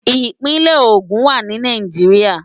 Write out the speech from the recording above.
Ipinè Ogun wá ni Náijiriá